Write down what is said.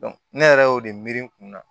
ne yɛrɛ y'o de miiri n kun na